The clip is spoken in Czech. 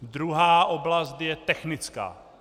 Druhá oblast je technická.